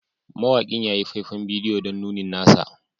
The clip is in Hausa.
Mawakin ya yi faifan bidiyo don nunin nasa